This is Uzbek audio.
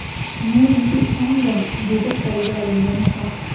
Men unga ishondim”, dedi qo‘lga olingan shaxs.